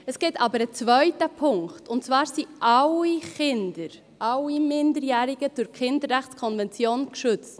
Es gibt aber einen zweiten Punkt, und zwar sind alle Kinder, alle Minderjährigen, durch die Kinderrechtskonvention geschützt.